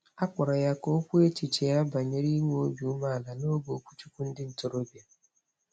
A kpọrọ ya ka o kwuo echiche ya banyere inwe obi umeala n'oge okwuchukwu ndị ntorobịa.